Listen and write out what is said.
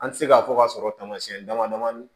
An tɛ se k'a fɔ k'a sɔrɔ taamasiyɛn damadamani